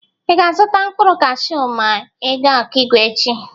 Ị ga-azụta mkpụrụ kashu ma ị ga Ọkịgwe echi?